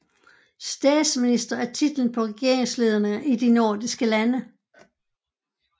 Statsminister er titlen på regeringslederen i de nordiske lande